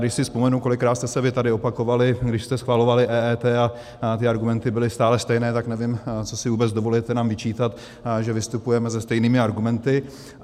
Když si vzpomenu, kolikrát jste se vy tady opakovali, když jste schvalovali EET, a ty argumenty byly stále stejné, tak nevím, co si vůbec dovolujete nám vyčítat, že vystupujeme se stejnými argumenty.